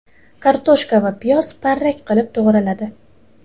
Kartoshka va piyoz parrak qilib to‘g‘raladi.